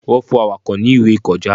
Wọn fún Awakọ̀ ni ìwé ìkọjá